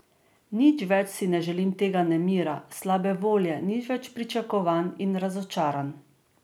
Nič več si ne želim tega nemira, slabe volje, nič več pričakovanj in razočaranj.